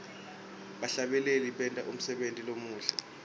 bahlabeleli benta umsebenti lomuhle